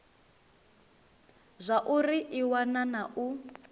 zwauri i wana na u